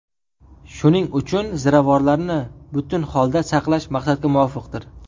Shuning uchun ziravorlarni butun holda saqlash maqsadga muvofiqdir.